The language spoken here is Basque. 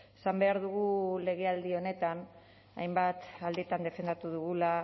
esan behar dugu legealdi honetan hainbat alditan defendatu dugula